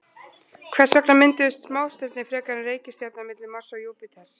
Hvers vegna mynduðust smástirni frekar en reikistjarna milli Mars og Júpíters?